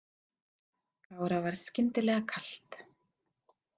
Kára varð skyndilega kalt.